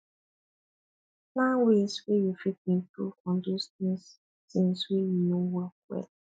plan ways wey you fit improve on those things things wey no work well